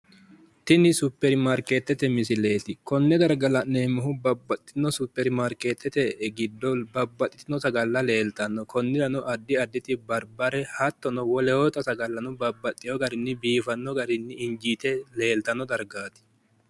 tini supperimaarkeettete misileet. konne darga la'neemmohu babbaxxitino suppermaarkeettete giddo babbaxxitino sagalla leeltanno. konnirano addi additi barbareno hattono wolootta sagalla babbaxxewo garinni biifanno garinni injiite leeltanno dargaati.